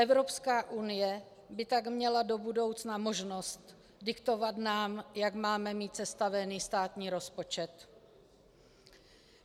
Evropská unie by tak měla do budoucna možnost diktovat nám, jak máme mít sestaven státní rozpočet.